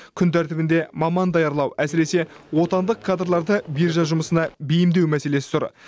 күн тәртібінде маман даярлау әсіресе отандық кадрларды биржа жұмысына бейімдеу мәселесі тұр